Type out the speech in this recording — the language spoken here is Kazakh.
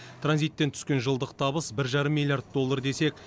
транзиттен түскен жылдық табыс бір жарым миллиард доллар десек